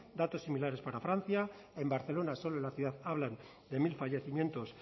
datos similares para francia en barcelona solo en la ciudad hablan de mil fallecimientos